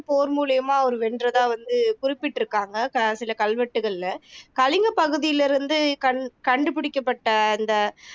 போர் மூலியமா அவர் வென்றதா வந்து குறிப்பிட்டு இருக்காங்க அ சில கல்வெட்டுக்களில கலிங்க பகுதியில இருந்து கண் கண்டுபிடிக்கப்பட்ட அந்த